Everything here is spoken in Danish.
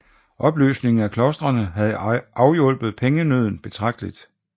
Opløsningen af klostrene havde afhjulpet pengenøden betragteligt